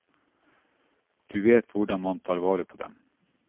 Du vet hvordan man tar vare på dem.